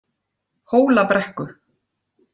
Hólabrekku